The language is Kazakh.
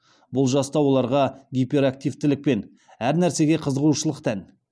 бұл жаста оларға гиперактивтілік пен әр нәрсеге қызығушылық тән